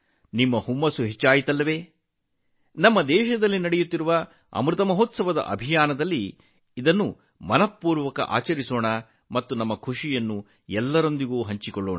ಜೋಶ್ ಹೆಚ್ಚಾಯಿತು ಅಲ್ಲವೇ ನಮ್ಮ ದೇಶದಲ್ಲಿ ನಡೆಯುತ್ತಿರುವ ಅಮೃತ ಮಹೋತ್ಸವದ ಪ್ರಚಾರವನ್ನು ತುಂಬ ಉತ್ಸಾಹದಿಂದ ಆಚರಿಸೋಣ ನಮ್ಮ ಸಂತೋಷವನ್ನು ಎಲ್ಲರೊಂದಿಗೆ ಹಂಚಿಕೊಳ್ಳೋಣ